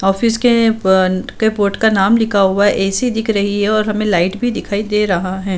Office के ब board का नाम लिखा हुआ है ए.सी दिख रही है और हमे लाईट भी दिखाई दे रहा है।